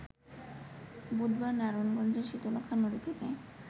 বুধবার নারায়ণগঞ্জের শীতলক্ষ্যা নদী থেকে